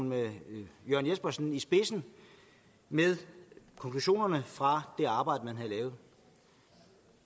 med jørn jespersen i spidsen med konklusionerne fra det arbejde man havde lavet